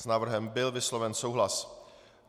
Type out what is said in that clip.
S návrhem byl vysloven souhlas.